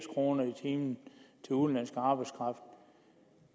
kroner i timen til udenlandsk arbejdskraft